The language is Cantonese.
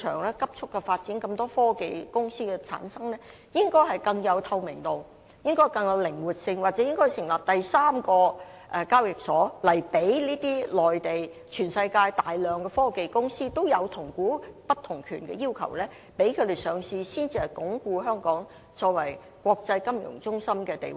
面對市場急速的發展，有那麼多科技公司出現，我們的運作應更具透明度和靈活性，又或應要成立第三個交易所，讓這些大量來自內地或世界其他地方，同樣有同股不同權要求的科技公司上市，才能鞏固香港的國際金融中心地位。